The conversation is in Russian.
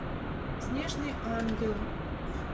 снежный ангел